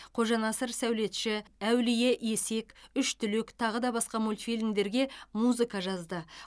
қожанасыр сәулетші әулие есек үш түлек тағыда басқа мультфильмдерге музыка жазды